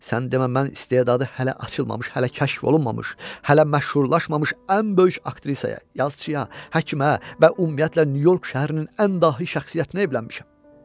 Sən demə mən istedadı hələ açılmamış, hələ kəşf olunmamış, hələ məşhurlaşmamış ən böyük aktrisaya, yazçıya, həkimə və ümumiyyətlə Nyu-York şəhərinin ən dahi şəxsiyyətinə evlənmişəm.